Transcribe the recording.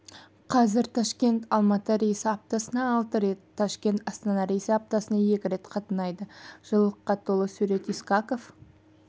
қазір ташкент-алматы рейсі аптасына алты мәрте ташкент-астана рейсі аптасына екі рет қатынайды жылылыққа толы сурет исақов